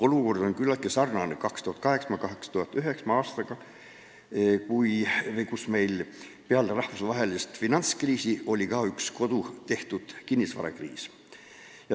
Olukord on küllaltki sarnane 2008. ja 2009. aastaga, kui meil peale rahvusvahelist finantskriisi oli ka üks kodutehtud kinnisvarakriis.